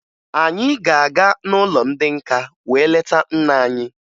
Anyị ga-aga n'ụlọ ndị nka wee leta nna anyị